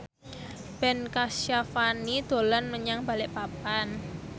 Ben Kasyafani dolan menyang Balikpapan